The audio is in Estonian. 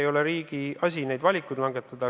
Ei ole riigi asi neid valikuid langetada.